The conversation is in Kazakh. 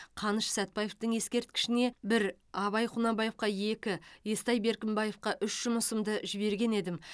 қаныш сәтбаевтың ескерткішіне бір абай құнанбаевқа екі естай беркімбаевқа үш жұмысымды жіберген едім